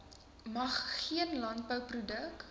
mag geen landbouproduk